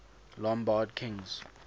lombard kings